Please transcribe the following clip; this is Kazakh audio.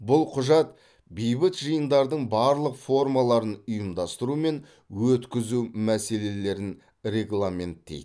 бұл құжат бейбіт жиындардың барлық формаларын ұйымдастыру мен өткізу мәселелерін регламенттейді